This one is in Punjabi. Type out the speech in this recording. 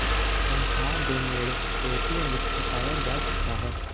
ਤਨਖਾਹ ਦੇ ਨੇੜੇ ਏਟੀਐਮ ਵਿੱਚ ਹਟਾਇਆ ਜਾ ਸਕਦਾ ਹੈ